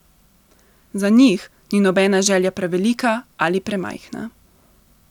Za njih ni nobena želja prevelika ali premajhna.